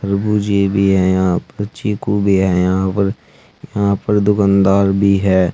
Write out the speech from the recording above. तरबूजे भी हैं यहां पर चीकू भी हैं यहां पर यहां पर दुकानदार भी है।